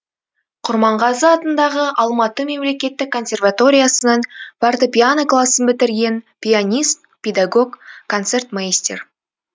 құрманғазы атындағы алматы мемлекеттік консерваториясының фортепьяно классын бітірген пианист педагог концертмейстер